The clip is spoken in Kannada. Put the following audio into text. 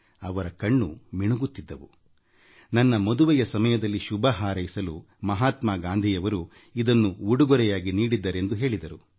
ಅವರ ಕಣ್ಣು ಮಿಂಚುತ್ತಿದ್ದವು ತಮ್ಮ ಮದುವೆಯ ಸಮಯದಲ್ಲಿ ಶುಭಹಾರೈಸಲು ಮಹಾತ್ಮ ಗಾಂಧಿಯವರು ಇದನ್ನು ಉಡುಗಿರೆಯಾಗಿ ನೀಡಿದ್ದರೆಂದು ಹೇಳಿದರು